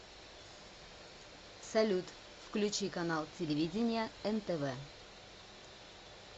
салют включи канал телевидения нтв